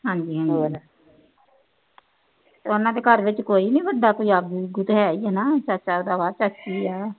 ਉਹਨਾ ਦੇ ਘਰ ਵਿਚ ਕੋਈ ਨੀ ਵਡਾ ਕੋਈ ਹੈ ਹੀ ਹੈ ਨਾ ਚਾਚਾ ਆ ਚਾਚੀ ਆ